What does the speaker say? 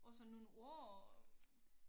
Og så nogle ord og